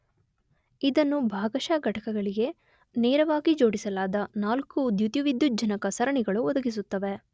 ಇದನ್ನು ಭಾಗಶಃ ಘಟಕಗಳಿಗೆ ನೇರವಾಗಿ ಜೋಡಿಸಲಾದ ನಾಲ್ಕು ದ್ಯುತಿವಿದ್ಯುಜ್ಜನಕ ಸರಣಿಗಳು ಒದಗಿಸುತ್ತವೆ.